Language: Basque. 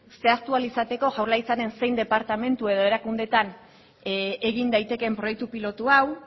zehaztu ahal izateko jaurlaritzaren zein departamentu edo erakundeetan egin daitekeen proiektu pilotu hau